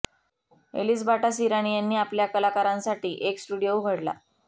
एलीस्बाटा Sirani यांनी आपल्या कलाकारांसाठी एक स्टुडिओ उघडला